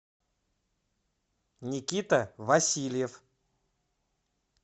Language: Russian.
никита васильев